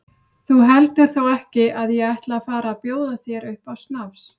Þú heldur þó ekki að ég ætli að fara að bjóða þér upp á snafs?